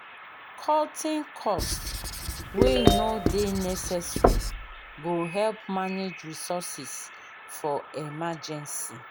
cutting cost wey no dey necesaary go help manage resources for emergency